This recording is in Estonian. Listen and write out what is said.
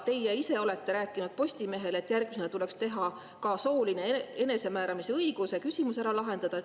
Teie ise olete rääkinud Postimehele, et järgmisena tuleks ka soolise enesemääramise õiguse küsimus ära lahendada.